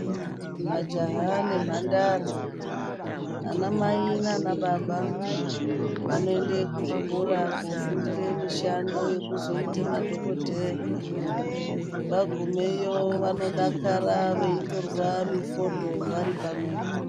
Majaha nemhandara, vanamai nanababa vanoende kuzvikora kofundire mishando yekuzoita madhokodheya. Vagumeyo vanodakara veitorwa mifodho vari pamwepo.